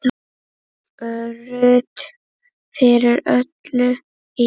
Ruth fyrir öllu illu.